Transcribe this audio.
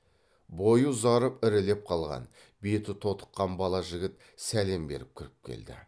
бойы ұзарып ірілеп қалған беті тотыққан бала жігіт сәлем беріп кіріп келді